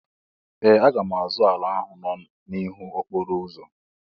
Ee! Aga m azụ ala ahụ nọ n'ihu okporo ụzọ